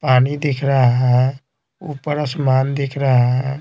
पानी दिख रहा है आसमान दिख रहा है।